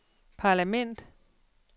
parlament